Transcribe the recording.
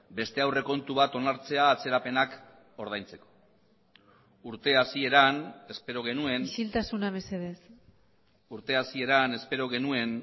beste aurrekontu bat onartzea atzerapenak ordaintzeko urte hasieran espero genuen isiltasuna mesedez urte hasieran espero genuen